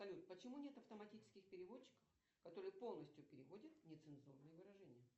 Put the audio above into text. салют почему нет автоматических переводчиков которые полностью переводят нецензурные выражения